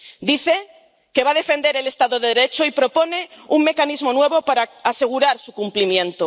Dice que va a defender el Estado de Derecho y propone un mecanismo nuevo para asegurar su cumplimiento.